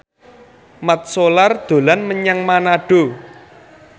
Mat Solar dolan menyang Manado